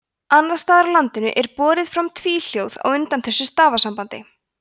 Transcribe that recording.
annars staðar á landinu er borið fram tvíhljóð á undan þessu stafasambandi